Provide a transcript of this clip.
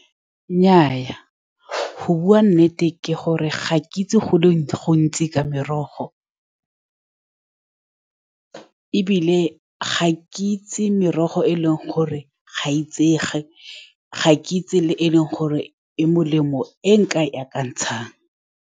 Nnyaa, go bua nnete ke gore ga ke itse go le go le gontsi ka merogo, ebile ga ke itse merogo e e leng gore ga itsege. Ga ke itse le e e leng gore e molemo, e nkae akantshang.